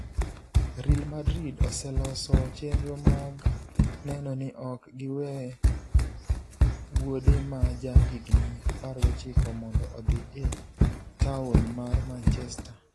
Real Madrid oseloso chenro mag neno ni ok giwe wuode ma ja higni 19 mondo odhi e taon mar Manchester.